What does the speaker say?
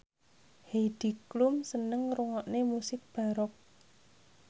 Heidi Klum seneng ngrungokne musik baroque